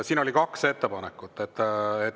Siin oli kaks ettepanekut.